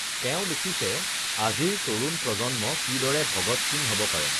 তেওঁ লিখিছে আজিৰ তৰুণ প্ৰজন্ম কিদৰে ভগৎ সিং হ ব পাৰে?